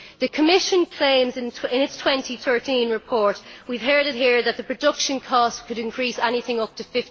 The Commission claims, in its 2013 report we have heard it here that the production costs could increase by anything up to